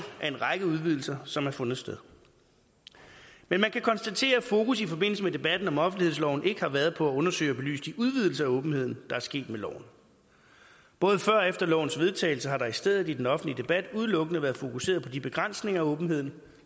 af en række udvidelser som har fundet sted men man kan konstatere at fokus i forbindelse med debatten om offentlighedsloven ikke har været på at undersøge og belyse de udvidelser af åbenheden der er sket med loven både før og efter lovens vedtagelse har der i stedet i den offentlige debat udelukkende været fokuseret på de begrænsninger af åbenheden